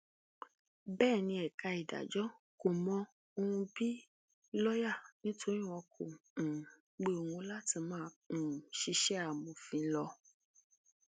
bẹẹ ni ẹka ìdájọ kò mọ òun bíi lọọyà nítorí wọn kò um pe òun láti máa um ṣiṣẹ amòfin lọ